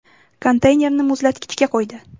Konteynerni muzlatkichga qo‘ydi.